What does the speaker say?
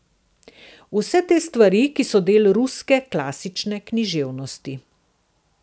Vse te stvari, ki so del ruske klasične književnosti.